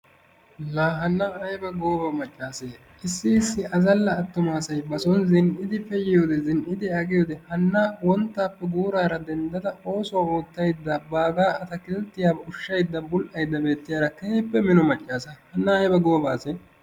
La hanna ayba gooba maccaasee. Issi issi azalla attuma asayi bason zin'idi pe'iyode zin'idi aqiyode hanna wonttaappe guuraara denddada oosuwa oottaydda baagaa atakilttiya ushshaydda bull'aydda beettiyara keehippe mino maccaasa. Hanna ayba gooba asee!